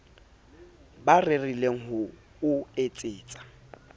ba rerile ho o etsetsa